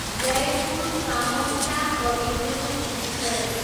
Jaipur, Kamakhya Kavi Guru express